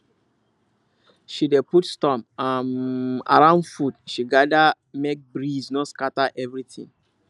she dey put stone um around food she gather make breeze no scatter everything